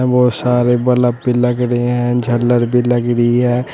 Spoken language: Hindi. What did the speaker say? बहोत सारे बलफ भी लग रहे हैं झालर भी लग रही है।